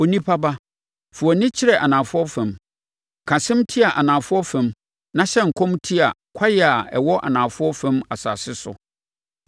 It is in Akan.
“Onipa ba, fa wʼani kyerɛ anafoɔ fam, ka asɛm tia anafoɔ fam na hyɛ nkɔm tia kwaeɛ a ɛwɔ anafoɔ fam asase soɔ.